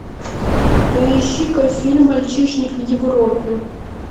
поищи ка фильм мальчишник в европе